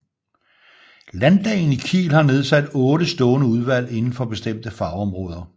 Landdagen i Kiel har nedsat 8 stående udvalg inden for bestemte fagområder